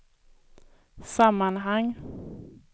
sammanhang